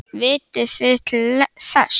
Vitið þið til þess?